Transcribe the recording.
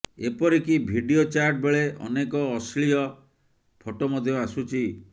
ଏପରିକି video chat ବେଳେ ଅନେକ ଅଶ୍ଲିଳ ଫଟୋ ମଧ୍ୟ ଆସୁଛି